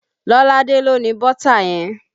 Lolade ló ni bọ́tà yẹn